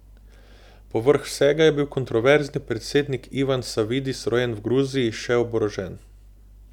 Povrh vsega je bil kontroverzni predsednik Ivan Savidis, rojen v Gruziji, še oborožen.